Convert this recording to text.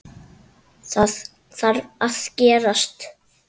Það þarf að gerast.